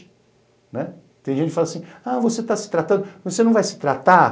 Tem gente que fala assim, ah, você está se tratando, você não vai se tratar?